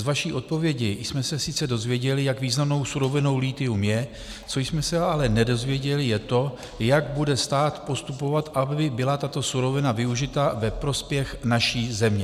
Z vaší odpovědi jsme se sice dozvěděli, jak významnou surovinou lithium je, co jsme se ale nedozvěděli, je to, jak bude stát postupovat, aby byla tato surovina využita ve prospěch naší země.